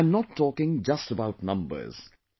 And I'm not talking just about numbers